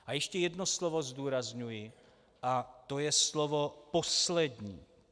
A ještě jedno slovo zdůrazňuji a to je slovo "poslední".